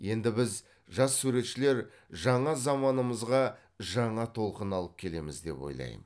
енді біз жас суретшілер жаңа заманымызға жаңа толқын алып келеміз деп ойлаймын